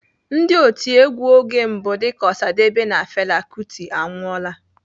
Ndị otiegwu oge mbụ dịka Osadebe na Fela Kuti anwụọla.